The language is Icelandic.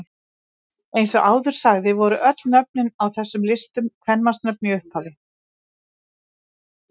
Eins og áður sagði voru öll nöfnin á þessum listum kvenmannsnöfn í upphafi.